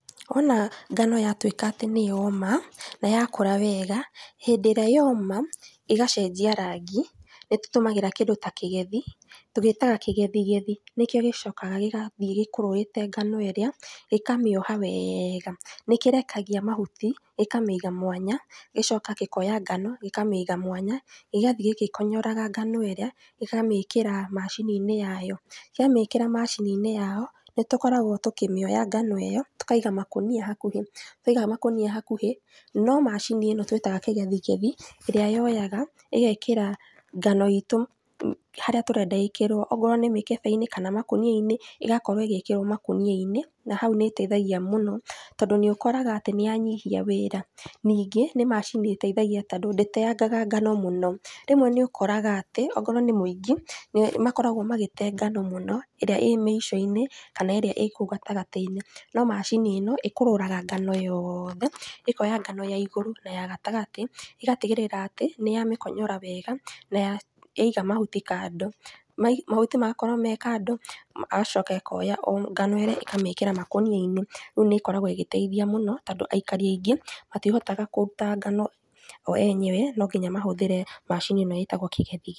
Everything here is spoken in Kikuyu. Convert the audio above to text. Wona ngano yatwĩka atĩ nĩyoma, nayakũra wega, hĩndĩ ĩrĩa yoma, ĩgacenjia rangi, nĩtútũmagĩra kĩndũ ta kĩgethi, tũgĩtaga kĩgethigethi, nĩkĩo gĩcokanga gĩgathiĩ gĩkũrũrĩte ngano ĩrĩa, gĩkamĩoha wega, nĩkĩrkagia mahuti, gĩkamĩiga mwanya, gĩgacoka gĩkoya ngano, gĩkamĩiga mwanya, gĩgathiĩ gĩgĩkonyoraga ngano ĩrĩa, gĩgacoka gĩkamĩkíra macini-inĩ yayo, kĩamĩkĩra macini-inĩ yao, nĩtũkoragwo tũkĩmĩoya ngano ĩyo, tũkaiga macini hakuhĩ, twaiga makonia hakuhĩ, no macini ĩno twĩtaga kĩgethgethi, ĩrĩa yoyaga, ĩgekĩra ngano itũ harĩa tũrenda ĩkĩrwo, okorwo nĩ mĩkebe-inĩ kana makonia-inĩ, ĩgakorwo ĩgĩkĩrwo makonia-inĩ, nahau nĩteithagia tondũ nĩũkoraga atĩ nĩyanyihia wĩra, ningĩ, nĩ macini ĩteithagia tondũ ndĩteangaga ngano mũno, rĩmwe nĩũkoraga atĩ okorwo nĩ mũingi, nĩ makoragwo magĩte ngano mũno, ĩrĩa ĩ mĩico-inĩ, kana ĩrĩa ĩ kũu gatagatĩ-inĩ, no macini ĩno, ĩkũrũraga ngano yothe, ĩkoya ngano ya igũrũ na ya gatagatĩ, ĩgatigĩrĩra atĩ, nĩ yamĩkonyora wega, naya, yaiga mahuti kando, no mahuti magakorwo me kando, ĩgacoka ĩkoya o ngano ĩrĩa ĩkamĩkĩra makonia-inĩ, rĩu nĩkoragwo ĩgĩteithia mũno, tondũ aikari aingĩ, matihotaga kũruta ngano o enyewe, nonginya mahũthĩre macini ĩno ĩtagwo kĩgethi.